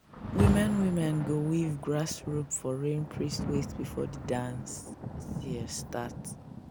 women women go weave grass rope for rain priest waist before the dance start.